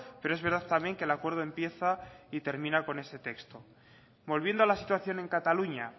pero es verdad también que el acuerdo empieza y termina con este texto volviendo a la situación en cataluña